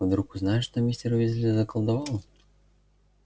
вдруг узнают что мистер уизли заколдовал